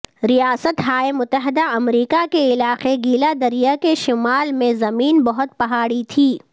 ریاست ہائے متحدہ امریکہ کے علاقے گیلا دریا کے شمال میں زمین بہت پہاڑی تھی